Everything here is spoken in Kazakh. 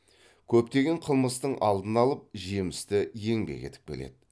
көптеген қылмыстың алдын алып жемісті еңбек етіп келеді